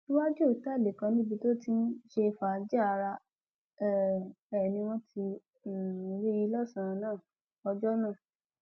iwájú òtẹẹlì kan níbi tó ti ń ṣe fàájì ara um ẹ ni wọn ti um rí i lọsànán ọjọ náà